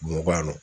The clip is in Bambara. Mugan